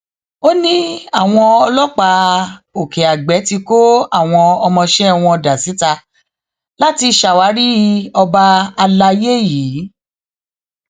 ó ní àwọn ọlọpàá òkèàgbẹ ti kó àwọn ọmọọṣẹ wọn dà síta láti ṣàwárí ọba àlàyé yìí